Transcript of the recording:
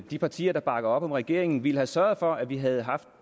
de partier der bakker op om regeringen ville have sørget for at vi havde haft